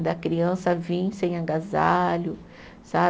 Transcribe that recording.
Da criança vir sem agasalho, sabe?